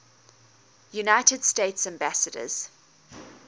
united states ambassadors